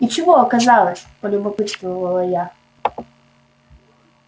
и чего оказалось полюбопытствовала я